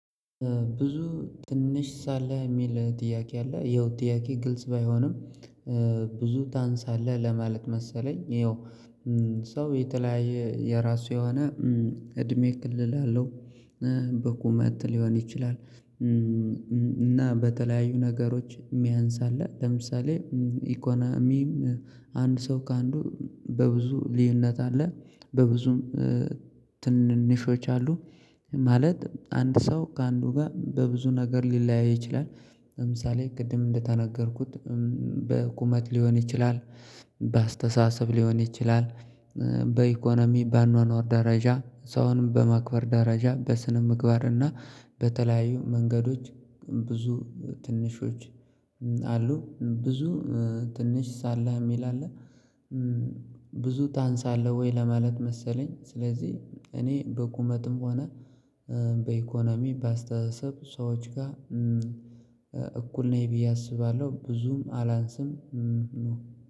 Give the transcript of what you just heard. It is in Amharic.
ብዙ ትንሽ ሳለህ የሚል ጥያቄ አለ ይኸው ጥያቄ ግልጽ ባይሆንም ብዙ ታንሳለህ ለማለት መሰለኝ ይኸው ሰው የተለያየ የራሱ የሆነ እድሜ ክልል አለው በቁመት ሊሆን ይችላል። እና በተለያዩ ነገሮች የሚያንስ አለ። ለምሳሌ ኢኮናሚም አንድ ሰው ከአንዱ በብዙ ልዩነት አለ በብዙም ትንንሾች አሉ። ማለት አንድ ሰው ከአንዱ ጋር በብዙ ነገር ሊለያይ ይችላል። ለምሳሌ ቅድም እንደተነገርኩት በቁመት ሊሆን ይችላል። በአስተሳሰብ ሊሆን ይችላል። በኢኮኖሚ በአኗኗር ደረጃ ሰውንም በማክበር ደረጃ በስነ ምግባር እና በተለያዩ መንገዶች ብዙ ትንሾች አሉ። ብዙ ትንሽ ሳለህ የሚል አለ? ብዙ ታንሳለህ ወይ ለማለት መሰለኝ? ስለዚህ እኔ በቁመትም ሆነ በኢኮኖሚ በስተሳሰብ ሰዎች ጋር እኩል ነኝ ብዬ አስባለሁ ብዙም አላንስም።